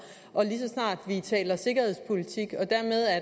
og lige så snart vi taler sikkerhedspolitik og dermed er